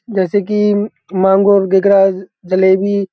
जैसे की मेंगो जलेबी --